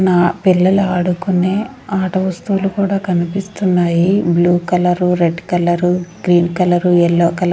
నా పిల్లలు ఆడుకునే ఆట వస్తువులు కూడా కనిపిస్తున్నాయి blue colour red colour green colour yellow colour --